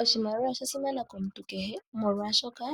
Oshimaliwa osha simana komuntu kehe molwaashoka